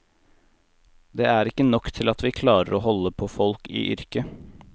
Det er ikke nok til at vi klarer å holde på folk i yrket.